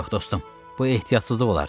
Yox, dostum, bu ehtiyatsızlıq olardı.